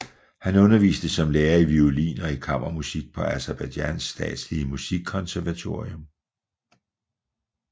Han underviste som lærer i violin og i kammermusik på Aserbajdsjans Statslige Musikkonservatorium